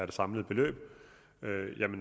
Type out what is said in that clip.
det samlede beløb